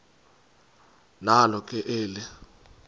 nalo ke eli